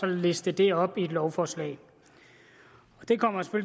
liste det op i et lovforslag det kommer